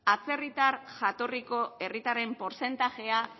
atzerritar jatorriko herritarren portzentajea